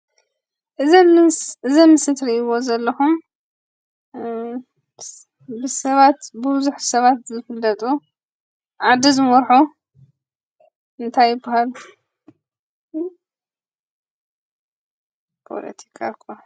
እዚ ኣምስ እዚ ኣብዚ ምስሊ ትርእይዎ ዘለኹም እ ብ ሰባት ብቡዝሕ ሰባት ዝፍለጡ ዓዲ ዝመርሑ እንታይ ይባሃሉ? ፖለቲካ እኳ...